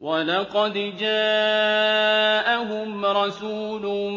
وَلَقَدْ جَاءَهُمْ رَسُولٌ